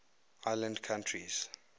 island countries